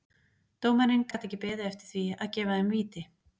Dómarinn gat ekki beðið eftir því að gefa þeim víti.